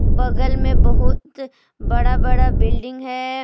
बगल में बहुत बड़ा बड़ा बिल्डिंग है।